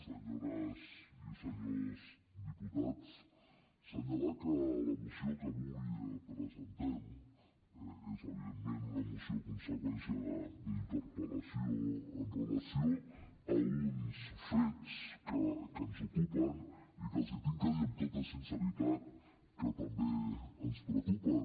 senyores i senyors diputats assenyalar que la moció que avui presentem és evidentment una moció conseqüència d’una interpellació amb relació a uns fets que ens ocupen i que els he de dir amb tota sinceritat que també ens preocupen